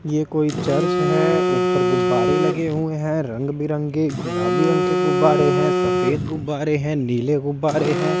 ये कोई चर्च है ऊपर गुब्बारे लगे हुए हैं रंग बिरंगे गुलाबी रंग के गुब्बारे हैं सफेद गुब्बारे हैं नीले गुब्बारे हैं।